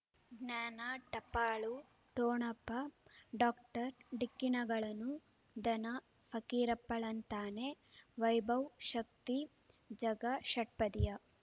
ಜ್ಞಾನ ಟಪಾಲು ಠೊಣಪ ಡಾಕ್ಟರ್ ಢಿಕ್ಕಿ ಣಗಳನು ಧನ ಫಕೀರಪ್ಪ ಳಂತಾನೆ ವೈಭವ್ ಶಕ್ತಿ ಝಗಾ ಷಟ್ಪದಿಯ